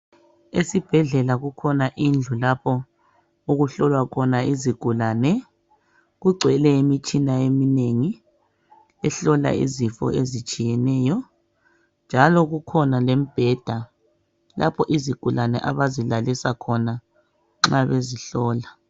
Esibhedlela kukhona indlu lapho okuhlolwa khona izigulane. Kugcwele imitshina eminengi ehlola izifo ezitshiyeneyo njalo kukhona lembheda lapho izigulane abazilalisa khona nxa bezihlola.